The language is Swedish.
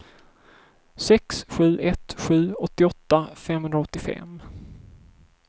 sex sju ett sju åttioåtta femhundraåttiofem